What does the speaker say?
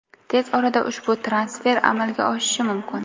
Tez orada ushbu transfer amalga oshishi mumkin.